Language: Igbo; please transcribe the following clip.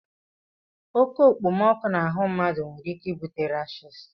Oke okpomọkụ n'ahụ mmadụ nwere ike ibute rashis